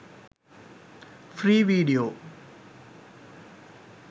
free video